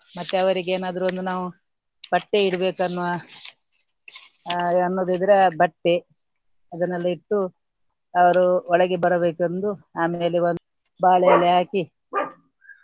ಮತ್ತೆ ಅವರಿಗೆ ಏನಾದ್ರು ಒಂದು ನಾವು ಬಟ್ಟೆ ಇಡ್ಬೇಕನ್ನುವ ಆ ಅನ್ನುವುದು ಇದರ ಬಟ್ಟೆ ಅದನ್ನೆಲ್ಲ ಇಟ್ಟು ಅವರು ಒಳಗೆ ಬರಬೇಕೆಂದು ಆಮೇಲೆ ಒಂದ್ ಬಾಳೆ ಎಲೆ ಹಾಕಿ.